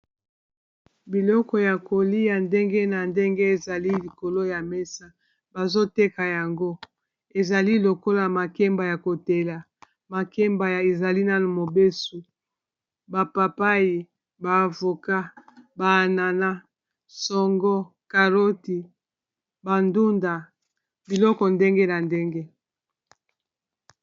Biloko ya kolia ndenge na ndenge ezali likolo ya mesa, bazo teka yango ezali lokola makemba ya kotela, makemba ezali nano mobesu, ba papai, ba avocat, ba anana, songo, karoti, ba ndunda, biloko ndenge na ndenge.